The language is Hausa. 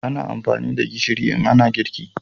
ana amfani da gishiri in ana girki